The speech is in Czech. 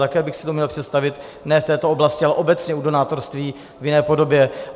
Také bych si to uměl představit, ne v této oblasti, ale obecně u donátorství, v jiné podobě.